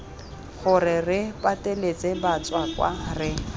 gore re pateletse batswakwa re